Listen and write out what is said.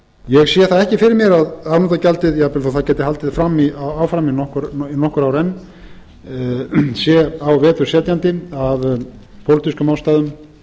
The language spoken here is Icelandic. ég sé það ekki fyrir mér að afnotagjaldið jafnvel þó að það geti haldið áfram í nokkur ár enn sé á vetur setjandi af pólitískum ástæðum